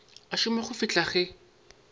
a šoma go fihla ge